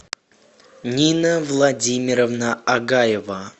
нина владимировна агаева